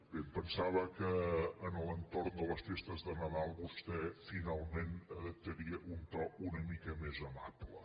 bé em pensava que a l’entorn de les festes de nadal vostè finalment adop·taria un to una mica més amable